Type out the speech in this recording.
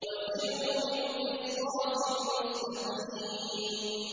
وَزِنُوا بِالْقِسْطَاسِ الْمُسْتَقِيمِ